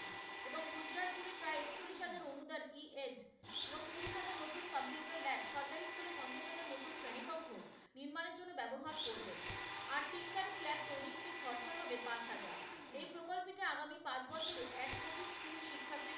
ied এবং কুড়ি হাজার নতুন computer lab সরকারি school এ পঞ্চাশ হাজার নতুন শ্রেণিকক্ষ নির্মাণের জন্য ব্যবহার করবেন, আর artingkaring lab তৈরিতে খরচা হবে পাঁচ হাজার। এই প্রকল্পটি আগামী পাঁচ বছরে এক কোটি school শিক্ষার্থী,